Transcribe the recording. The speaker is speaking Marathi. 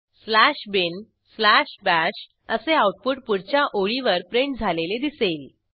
स्लॅश बिन स्लॅश bashअसे आऊटपुट पुढच्या ओळीवर प्रिंट झालेले दिसेल